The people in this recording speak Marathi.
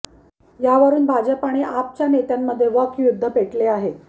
यावरून भाजप आणि आपच्या नेत्यांमध्ये वाक् युद्ध पेटले आहे